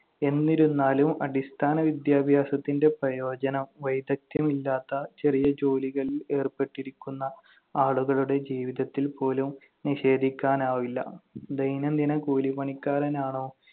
എന്നിരുന്നാലും, അടിസ്ഥാന വിദ്യാഭ്യാസത്തിന്‍റെ പ്രയോജനം വൈദഗ്ധ്യമില്ലാത്ത ചെറിയ ജോലികളിൽ ഏർപ്പെട്ടിരിക്കുന്ന ആളുകളുടെ ജീവിതത്തിൽ പോലും നിഷേധിക്കാനാവില്ല. ദൈനംദിന കൂലിപ്പണിക്കാരനാണോ